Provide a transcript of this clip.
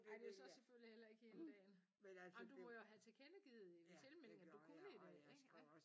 Ej det jo så selvfølgelig heller ikke hele dagen. Jamen du må jo have tilkendegivet i tilmeldingen at du kunne i dag ik